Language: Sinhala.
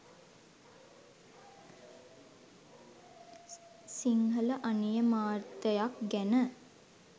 සිංහල අනියමාර්ථයක් ගැන